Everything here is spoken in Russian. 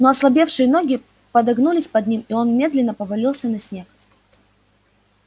но ослабевшие ноги подогнулись под ним и он медленно повалился на снег